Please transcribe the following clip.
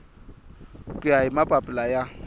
ku ya hi mapapila ya